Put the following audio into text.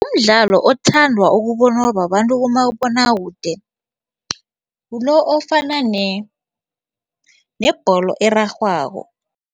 Umdlalo othandwa ukubonwa babantu kumabonakude ngulo ofana nebholo erarhwako.